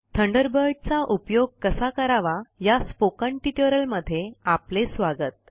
Thunderbird चा उपयोग कसा करावा या स्पोकन ट्यूटोरियल मध्ये आपले स्वागत